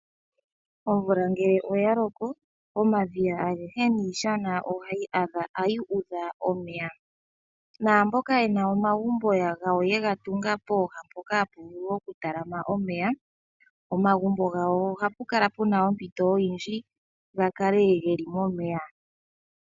Omvula nge ya loko omadhiya agehe niishana ohayi udha omeya. Naamboka yena omagumbo gawo ye ga tunga poha mpoka hapu vulu okutalama omeya, omagumbo gawo ohapukala ompito oyindji ga kale momeya.